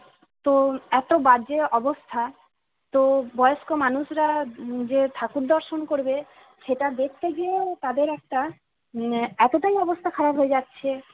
তো এতো বাজে অবস্থা তো বয়স্ক মানুষরা যে ঠাকুর দর্শন করবে সেটা দেখতে গিয়েও তাদের একটা উম এতটাই অবস্থা খারাপ হয়ে যাচ্ছে